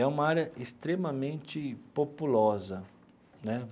É uma área extremamente populosa, né?